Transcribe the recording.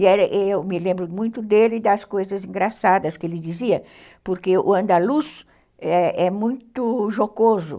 E eu me lembro muito dele das coisas engraçadas que ele dizia, porque o andaluz é é muito jocoso.